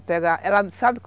Sabe